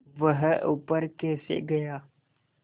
वह ऊपर कैसे गया